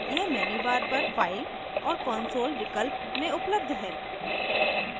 यह menu bar पर file और console विकल्प में उपलब्ध है